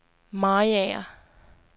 Mariager